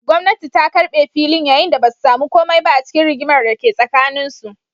Gwamnati ta karbe filin, yayin da ba su samu komai ba a cikin rigimar da ke tsakaninsu.